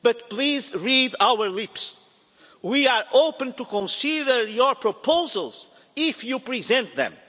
Please read our lips we are open to consider your proposals, if you present them.